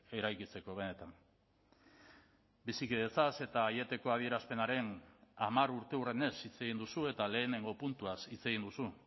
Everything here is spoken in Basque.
eraikitzeko benetan bizikidetzaz eta aieteko adierazpenaren hamar urteurrenez hitz egin duzu eta lehenengo puntuaz hitz egin duzu